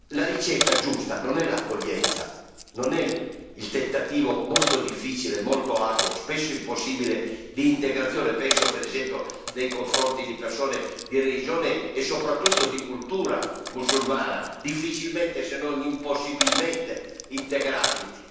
La ricetta giusta non è l'accoglienza, non è il tentativo molto difficile, molto arduo, spesso impossibile di integrazione penso, per esempio, delle persone di religione e, soprattutto, di cultura musulmana, difficilmente se non impossibilmente integrabili.